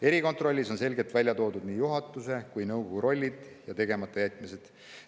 Erikontrollis on selgelt välja toodud nii juhatuse kui ka nõukogu rollid ja tegematajätmised.